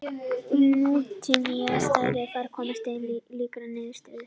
Í nútímalegri stærðfræði má komast að líkri niðurstöðu.